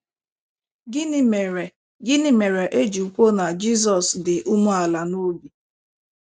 Gịnị mere Gịnị mere e ji kwuo na Jizọs dị umeala n’obi?